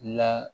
La